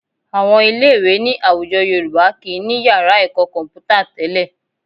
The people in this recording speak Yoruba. Àwọn ilé-ìwé ní àwùjọ Yorùbá kì í ní yàrá ẹ̀kọ́ kọ̀m̀pútà tẹ́lẹ̀